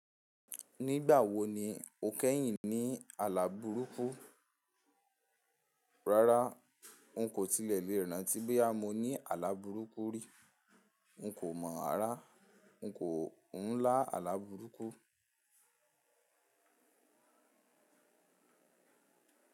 Nígbà wo ni o kẹ́yìn ní àlàbúrúkú? Rárá, n kò tilẹ̀ léran tí bó yá mo ní àlàbúrúkú rí. N kò mọ̀ ara, n kò ń lá àlàbúrúkú.